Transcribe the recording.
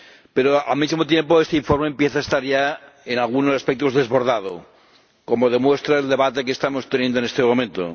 Pero, al mismo tiempo, este informe empieza a estar ya en algunos aspectos desbordado, como lo demuestra el debate que estamos manteniendo en este momento.